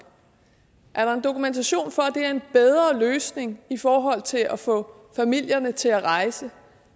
er der dokumentation for at det er en bedre løsning til at få familierne til at rejse